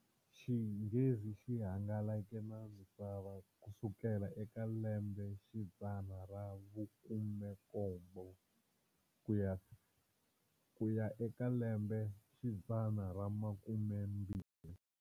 Xinghezi xi hangalake na misava kusukela eka lembexidzana ra vukhume-nkombo kuya eka lembexidzana ramakumembirhi.